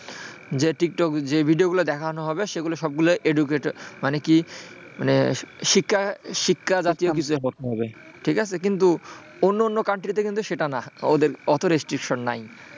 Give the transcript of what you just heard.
যে TikTok এ যে video গুলো দেখানো হবে সেগুলো সবগুলোই educated মানে কি মানে শিক্ষা জাতীয় কিছু একটা হবে কিন্তু অন্য অন্য country তে কিন্তু সেটা নয়, ওদের ওতো restriction নাই,